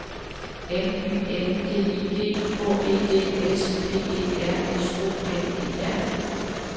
M Y N D I G H E D S P E R S O N E R